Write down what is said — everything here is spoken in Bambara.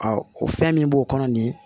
o fɛn min b'o kɔnɔ nin